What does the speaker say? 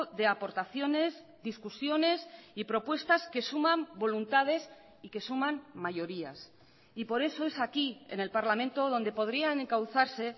de aportaciones discusiones y propuestas que suman voluntades y que suman mayorías y por eso es aquí en el parlamento donde podrían encauzarse